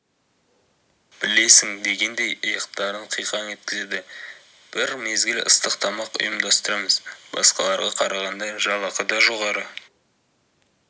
білесің дегендей иықтарын қиқаң еткізеді бір мезгіл ыстық тамақ ұйымдастырамыз басқаларға қарағанда жалақы да жоғары